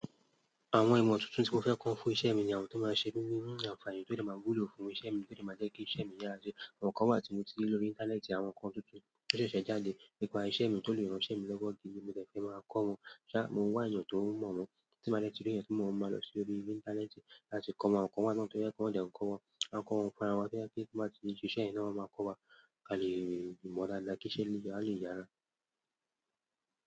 Àwọn ìmọ̀ tuntun tí mo fẹ́ kọ́ fún iṣẹ́ mi ni àwọn tó máa ṣe mí ní, àfààní, tó de máa wùlò fún iṣẹ́ mi, tó de máa jẹ́ kí iṣẹ́ mi yára die. Àwọn kan wà tí mo ti rí lórí Íńtánẹ́ẹ̀tì, àwọn nnkan tuntun tó ṣẹ̀ṣẹ̀ jáde nípa iṣẹ́ mi tó lè ran iṣẹ́ mi lọ́wọ́ gidi mo dẹ̀ fẹ́ máa kọ́ wọn. Ṣá, mo n wà eeyàn tó mọ̀ won tí n bá dè ti ri eeyàn to mọ̀ won mo máa lọ sí orí Íńtánẹ́ẹ̀tì láti kọ́ wọn awon kan wà náà tó jẹ pe wọ́n dẹ́ n kọ́ wa. Wọn a kọ́wà ń funra wá to je wipe ti wọ́n bá ti siṣe yẹ̀n ni wọ́n máa kọ́ wa. A lè mọ̀ dáadáa kí iṣẹ́ a le yára.